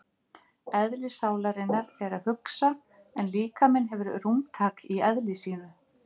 Eðli sálarinnar er að hugsa en líkaminn hefur rúmtak í eðli sínu.